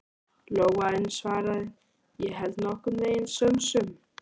Lóa en svaraði: Ég held nokkurn veginn sönsum.